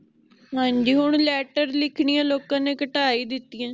ਹਾਂਜੀ ਹੋਣ letter ਲਿਖਣੀਆਂ ਲੋਕਾਂ ਨੇ ਘਟਾ ਹੀ ਦਿਤੀਆਂ